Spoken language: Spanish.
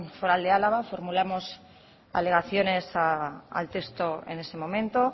foral de álava formulamos alegaciones al texto en ese momento